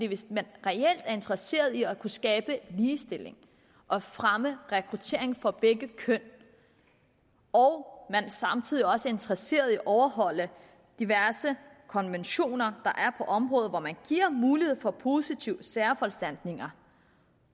hvis man reelt er interesseret i at kunne skabe ligestilling og fremme rekruttering for begge køn og samtidig også er interesseret i at overholde diverse konventioner der på området hvor man giver mulighed for positive særforanstaltninger